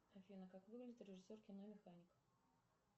афина как выглядит режиссер кино механик